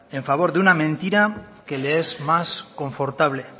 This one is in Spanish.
en favor de una mentira que le es más confortable